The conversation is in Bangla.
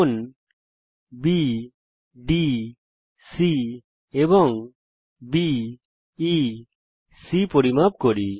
কোণ বিডিসি এবং বিইসি পরিমাপ করি